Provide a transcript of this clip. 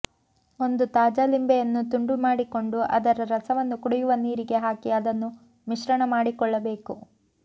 ಒಂದು ತಾಜಾ ಲಿಂಬೆಯನ್ನು ತುಂಡು ಮಾಡಿಕೊಂಡು ಅದರ ರಸವನ್ನು ಕುಡಿಯು ನೀರಿಗೆ ಹಾಕಿ ಅದನ್ನು ಮಿಶ್ರಣ ಮಾಡಿಕೊಳ್ಳಬೇಕು